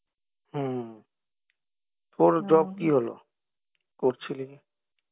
হম তোর job কি হলো, করছিলি না?